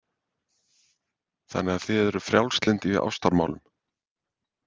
Þannig að þið eruð frjálslynd í ástamálum.